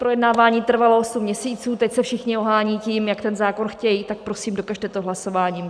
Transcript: Projednávání trvalo osm měsíců, teď se všichni ohánějí tím, jak ten zákon chtějí, tak prosím, dokažte to hlasováním.